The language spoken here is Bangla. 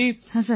হ্যাঁ স্যার